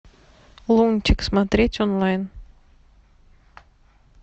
лунтик смотреть онлайн